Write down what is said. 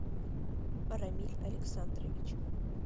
рамиль александрович